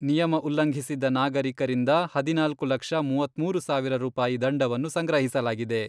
ನಿಯಮ ಉಲ್ಲಂಘಿಸಿದ್ದ ನಾಗರಿಕರಿಂದ ಹದಿನಾಲ್ಕು ಲಕ್ಷ ಮೂವತ್ಮೂರು ಸಾವಿರ ರೂಪಾಯಿ ದಂಡವನ್ನು ಸಂಗ್ರಹಿಸಲಾಗಿದೆ.